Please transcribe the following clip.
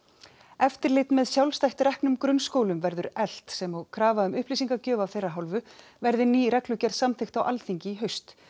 eftirlit með sjálfstætt reknum grunnskólum verður eflt sem og krafa um upplýsingagjöf af þeirra hálfu verði ný reglugerð samþykkt á Alþingi í haust